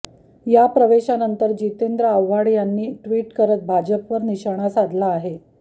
या प्रवेशानंतर जितेंद्र आव्हाड यांनी ट्विट करत भाजपवर निशाणा साधला आहे